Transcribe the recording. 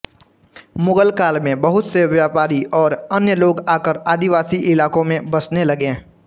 मुगल काल में बहुत से व्यापारी और अन्य लोग आकर आदिवासी इलाकों में बसने लगे